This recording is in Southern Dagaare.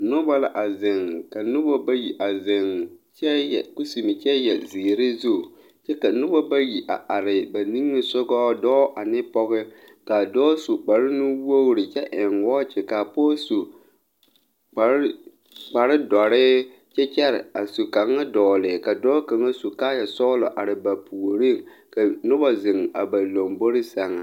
Nobɔ la a zeŋ ka nobɔ bayi a zeŋ kyɛ yɛ kusime kyɛ yɛre zu kyɛ ka nobɔ bayi a are ba niŋesugɔ ka dɔɔ ane pɔge kaa dɔɔ su kparenuwogre kyɛ eŋ wɔɔkyi kaa pɔge su kpare kpare dɔre kyɛ kyɛre a su kaŋa dɔgle ka dɔɔ kaŋa su kaayɛ sɔglɔ are ba puoriŋ ka nobɔ zeŋ a ba lombore sɛŋ.